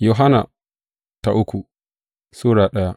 uku Yohanna Sura daya